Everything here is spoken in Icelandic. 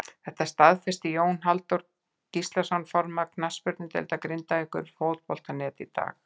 Þetta staðfesti Jón Halldór Gíslason formaður knattspyrnudeildar Grindavíkur við Fótbolta.net í dag.